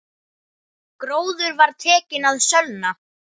Gróður var tekinn að sölna.